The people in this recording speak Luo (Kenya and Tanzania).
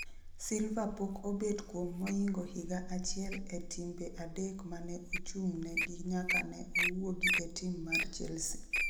Silva pok obet kuom moingo higa achiel e timbe adek mane ochung' negi nyaka ne owuogi e tim mar Chelsea